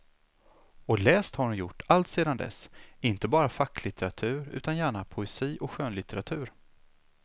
Och läst har hon gjort alltsedan dess, inte bara facklitteratur utan gärna poesi och skönlitteratur.